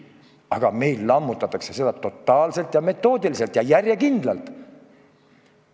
Aga meil lammutatakse seda totaalselt, metoodiliselt ja järjekindlalt.